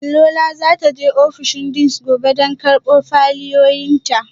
Lola za ta je ofishin deans gobe don karbo fayilolinta